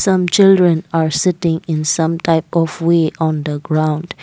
some children are sitting in some type of lay on the ground.